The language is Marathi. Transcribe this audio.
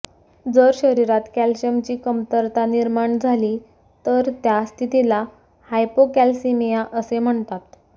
जर शरीरात कॅल्शियमची कमतरता निर्माण झाली तर त्या स्थितीला हायपोकॅल्सिीमिया असे म्हणतात